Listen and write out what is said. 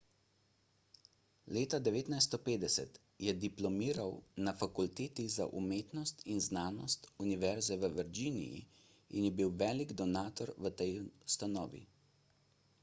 leta 1950 je diplomiral na fakulteti za umetnost in znanost univerze v virginiji in je bil velik donator tej ustanovi